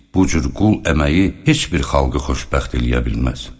Bu cür qul əməyi heç bir xalqı xoşbəxt eləyə bilməz.